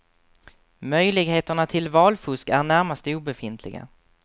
Möjligheterna till valfusk är närmast obefintliga.